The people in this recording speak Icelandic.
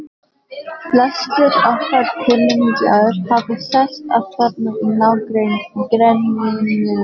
Flestir okkar kunningjar hafa sest að þarna í nágrenninu.